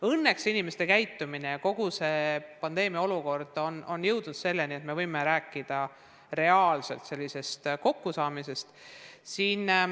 Õnneks on tänu inimeste käitumisele kogu see pandeemiaga seotud olukord jõudnud selleni, et me võime rääkida reaalsest kokkusaamisest.